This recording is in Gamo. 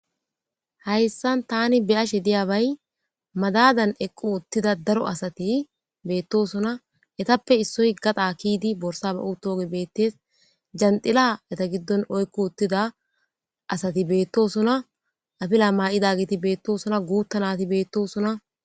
Hayssan tani beyashe diyabay madadan equ uttida daro asati beettosuna etappe issoy gaxa kiyidi borsa ba u tooge beettes janxila eta giddon oykku uttida asati beettosuna afila maa'ida giti beettosuna guuttanati beettosuna.